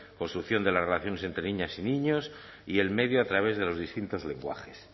construcción de las relaciones entre niñas y niños y el medio a través de los distintos lenguajes